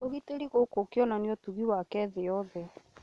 ũgitĩri gũkũ ĩkĩonania ũtugi wake thĩ yothe